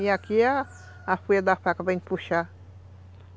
E aqui é a folha da faca para a gente puxar.